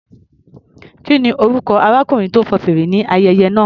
Kí ni orúkọ arákùnrin tó fọn fèrè ní ayẹyẹ náà?